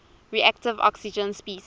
reactive oxygen species